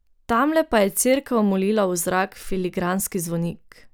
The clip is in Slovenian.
Tamle pa je cerkev molila v zrak filigranski zvonik.